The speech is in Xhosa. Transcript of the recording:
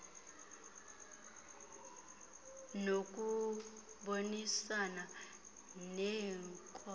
nokubonisana nee ngos